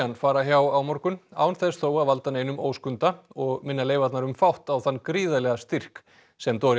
fara hjá á morgun án þess þó að valda neinum óskunda og minna leifarnar um fátt á þann gríðarlega styrk sem